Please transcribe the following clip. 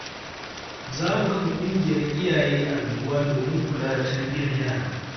Za mu kafa ƙungiyar iyaye a unguwa domin kula da tarbiyyar yara.